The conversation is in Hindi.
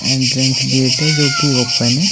एंट्रेंस गेट है जो की ओपन है।